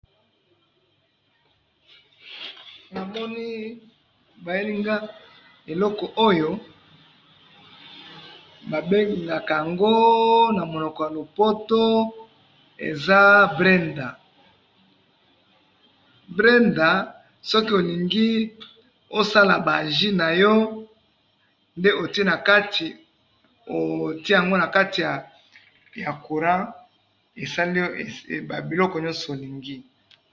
Namoni bayeli nga eloko oyo, babengaka yango na monoko ya lopoto eza blender ,blender soki olingi osala ba jus na yo nde otie na kati ,otie yango na kati ya courant esaleli yo ba biloko nionso olingi